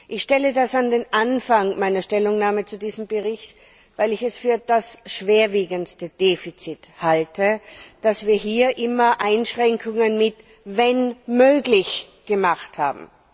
Ich stelle das an den Anfang meiner Stellungnahme zu diesem Bericht, weil ich es für das schwerwiegendste Defizit halte, dass wir hier immer die Einschränkung mit wenn möglich hinzugefügt haben.